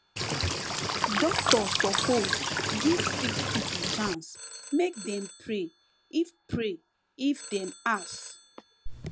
doctor sopose give sick pipo chance make dem pray if pray if dem ask